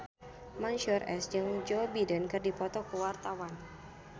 Mansyur S jeung Joe Biden keur dipoto ku wartawan